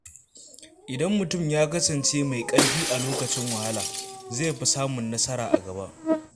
Idan mutum ya kasance mai ƙarfi a lokacin wahala, zai fi samun nasara a gaba.